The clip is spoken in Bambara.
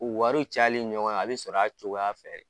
U wari cayali ɲɔgɔnna bɛ sɔrɔ a cogoya fɛ